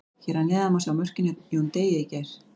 Hér að neðan má sjá mörkin hjá Jóni Degi í gær.